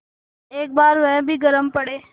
एक बार वह भी गरम पड़े